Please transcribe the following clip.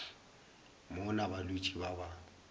mo na balwetši ba ba